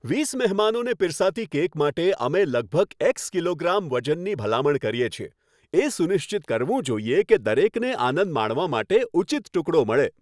વીસ મહેમાનોને પીરસાતી કેક માટે, અમે લગભગ એક્સ કિલોગ્રામ વજનની ભલામણ કરીએ છીએ. એ સુનિશ્ચિત કરવું જોઈએ કે દરેકને આનંદ માણવા માટે ઉચિત ટુકડો મળે.